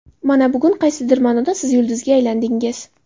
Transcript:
Mana bugun qaysidir ma’noda siz yulduzga aylandingiz.